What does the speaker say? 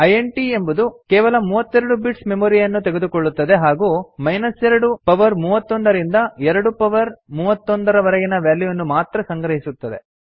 int ಎಂಬುದು ಕೇವಲ 32 bits memory ಯನ್ನು ತೆಗೆದುಕೊಳ್ಳುತ್ತದೆ ಹಾಗೂ 2 ಪವರ್ 31 ರಿಂದ 2 ಪವರ್ 31 ರ ವರೆಗಿನ ವ್ಯಾಲ್ಯೂವನ್ನು ಮಾತ್ರ ಸಂಗ್ರಹಿಸುತ್ತದೆ